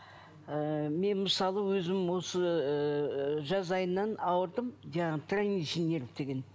ыыы мен мысалы өзім осы ыыы жаз айынан ауырдым жаңағы траничный нерв деген